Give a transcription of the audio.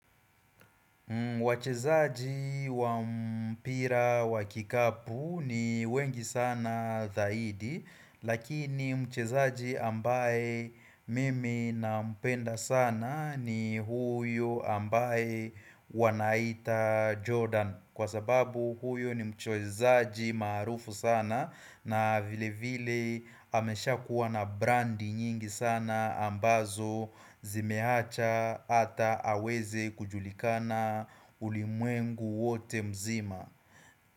Wachezaji wa mpira wa kikapu ni wengi sana zaidi lakini mchezaji ambaye mimi nampenda sana ni huyo ambaye wanaita Jordan Kwa sababu huyo ni mchoezaji marufu sana na vilevile amesha kuwa na brandi nyingi sana ambazo zimehacha ata aweze kujulikana ulimwengu wote mzima.